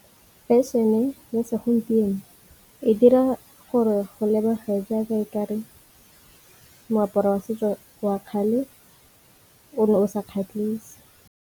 Fashion-e ya segompieno e dira gore go lebege jaaka e kare moaparo wa setso wa kgale o ne o sa kgatlhise.